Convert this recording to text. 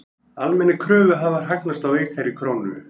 Almennir kröfuhafar hagnast á veikari krónu